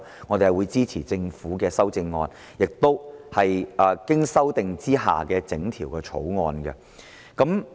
我們會支持政府的修正案，以及經修訂的整項《條例草案》。